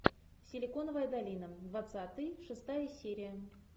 силиконовая долина двадцатый шестая серия